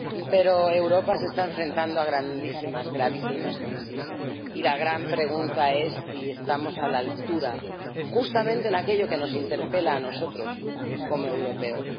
Pero Europa se está enfrentando a grandísimas y gravísimas crisis y la gran pregunta es si estamos a la altura, justamente en aquello que nos interpela a nosotros, como europeos.